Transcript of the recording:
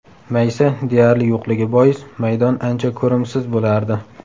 Maysa deyarli yo‘qligi bois, maydon ancha ko‘rimsiz bo‘lardi.